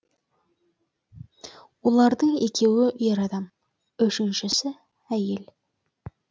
олардың екеуі ер адам үшіншісі әйел